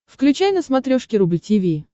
включай на смотрешке рубль ти ви